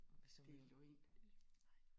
Det er løgn!